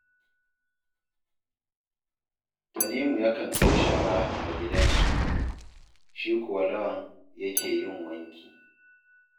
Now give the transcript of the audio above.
Tanimu yakan kai shara a gidansu, shi kuwa Lawan yake yin wanki